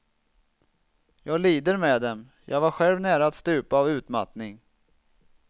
Jag lider med dem, jag var själv nära att stupa av utmattning.